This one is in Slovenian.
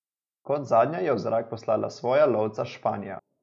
Kot zadnja je v zrak poslala svoja lovca Španija.